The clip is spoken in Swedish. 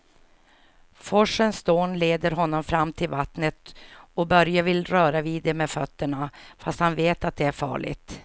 Forsens dån leder honom fram till vattnet och Börje vill röra vid det med fötterna, fast han vet att det är farligt.